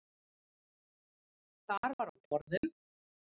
Þar var á borðum: